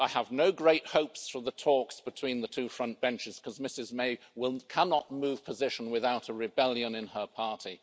I have no great hopes for the talks between the two front benches, because Mrs May cannot move position without a rebellion in her party.